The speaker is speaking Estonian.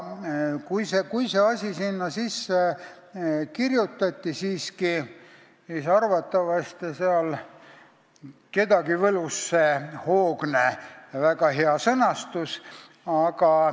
Kui see asi sinna siiski sisse kirjutati, siis arvatavasti võlus kedagi see hoogne, väga hea sõnastus.